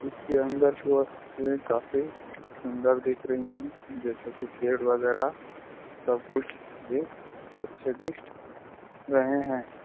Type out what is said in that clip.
इस के अंदर काफी अंदर दिख रही है जैसे की पेड़ वागेर सब कुछ ही अच्छे दिख रहे हैं।